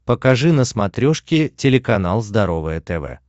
покажи на смотрешке телеканал здоровое тв